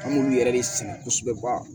An b'olu yɛrɛ de sɛnɛ kosɛbɛ